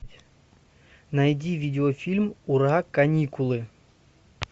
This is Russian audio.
найди видеофильм ура каникулы